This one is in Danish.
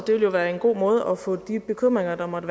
det vil jo være en god måde at få de bekymringer der måtte